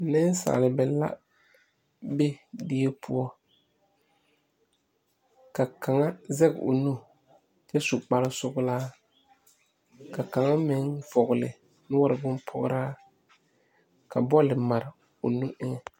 Nensaaleba be die poɔ ka kaŋa zege o nu kyɛ su kpare sɔglɔ ka kaŋa meŋ vɔgle noɔre boŋ pɔgraa ka bɔl mare o nu eŋɛ.